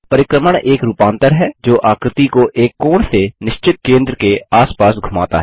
परिक्रमण एक रूपांतर है जो आकृति को एक कोण से निश्चित केंद्र के आस पास धुमाता है